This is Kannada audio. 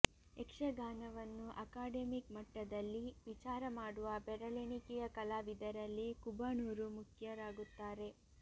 ಯಕ್ಷಗಾನವನ್ನು ಅಕಾಡೆಮಿಕ್ ಮಟ್ಟದಲ್ಲಿ ವಿಚಾರ ಮಾಡುವ ಬೆರಳೆಣಿಕೆಯ ಕಲಾವಿದರಲ್ಲಿ ಕುಬಣೂರು ಮುಖ್ಯರಾಗುತ್ತಾರೆ